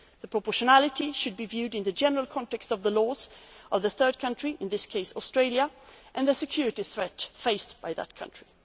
push' method. The question of proportionality should be viewed in the general context of the laws of the third country, in this case Australia, and the security threat faced by